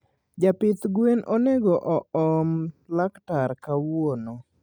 Japidh gwen onego oom laktar kawuono